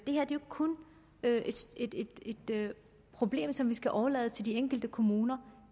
kun er et problem som vi skal overlade til de enkelte kommuner